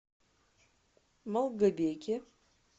малгобеке